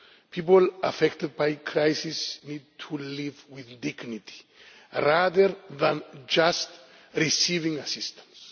People affected by crisis need to live with dignity, rather than just receiving assistance.